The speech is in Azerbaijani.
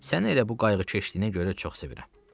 Səni elə bu qayğıkeşliyinə görə çox sevirəm.